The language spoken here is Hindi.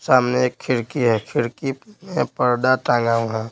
सामने एक खिड़की है खिड़की में पर्दा टांगा वहां--